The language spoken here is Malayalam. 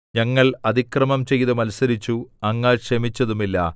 ഞങ്ങൾ അതിക്രമം ചെയ്ത് മത്സരിച്ചു അങ്ങ് ക്ഷമിച്ചതുമില്ല